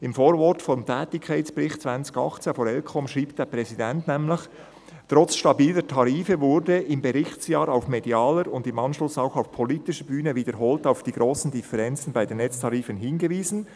Im Vorwort des Tätigkeitsberichts 2018 der ElCom schreibt der Präsident nämlich: «Trotz stabiler Tarife wurde im Berichtsjahr auf medialer und im Anschluss auch auf politischer Bühne wiederholt auf die grossen Differenzen bei den Netztarifen hingewiesen.